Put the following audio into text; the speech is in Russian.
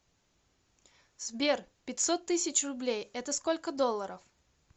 сбер пятьсот тысяч рублей это сколько долларов